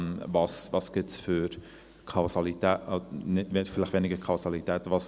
Welche Kausalitäten gibt es, vielleicht weniger Kausalitäten: